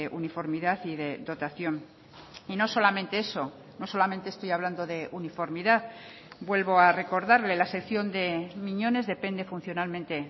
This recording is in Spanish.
uniformidad y de dotación y no solamente eso no solamente estoy hablando de uniformidad vuelvo a recordarle la sección de miñones depende funcionalmente